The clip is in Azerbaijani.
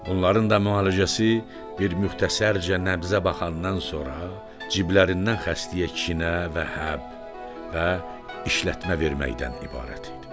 Bunların da müalicəsi bir müxtəsərcə nəbzə baxandan sonra ciblərdən xəstəyə kinə və həb və işlətmə verməkdən ibarət idi.